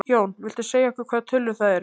Jón: Viltu segja okkur hvaða tölur það eru?